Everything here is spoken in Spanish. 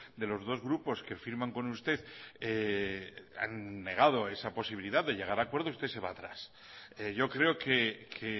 de los dos grupos que firman con usted han negado esa posibilidad de llegar a acuerdo usted se va atrás yo creo que